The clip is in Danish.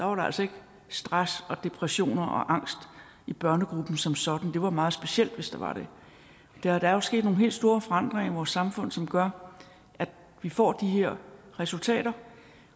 var der altså ikke stress og depression og angst i børnegruppen som sådan det var meget specielt hvis der var det der er jo sket nogle helt store forandringer i vores samfund som gør at vi får de her resultater